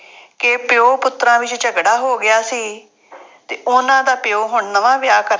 ਕਿ ਪਿਉ ਪੁੱਤਰਾਂ ਵਿੱਚ ਝਗੜਾ ਹੋ ਗਿਆ ਸੀ ਅਤੇ ਉਹਨਾ ਦਾ ਪਿਉ ਹੁਣ ਨਵਾਂ ਵਿਆਹ ਕਰ,